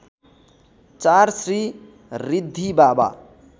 ४ Shri Riddhibaba